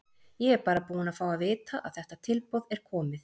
Ég er bara búinn að fá að vita að þetta tilboð er komið.